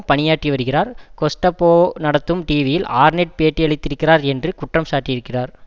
பணியாற்றி வருகிறார் கெஸ்ட்டப்போ நடத்தும் டிவியில் ஆர்நெட் பேட்டியளித்திருக்கிறார் என்று குற்றம் சாட்டியிருக்கிறார்